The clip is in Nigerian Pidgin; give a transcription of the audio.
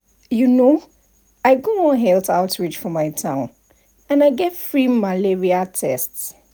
you know i go one health outreach for my town and i get free malaria test.